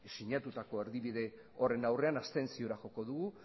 sinatutako erdibide horren aurrean abstentziora joko dugu